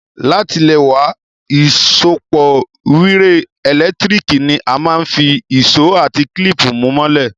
Látilẹ̀wá, ìsopọ́ wire ẹ́lẹ̀ntirikì ni a máa n fi ìsó àti clip mú mọ́lẹ̀